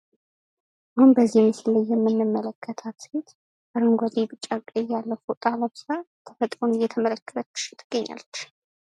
አሁን በዚህ ምስል ላይ የምንመለከታት ሴት አረንጓዴ ቢጫ ቀይ ያለው ፎጣ ለብሳ ተፈጥሮን እየተመለከተች ትገኛለች።